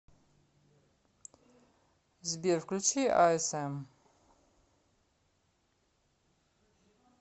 сбер включи а эс эм